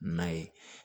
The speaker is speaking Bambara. Na ye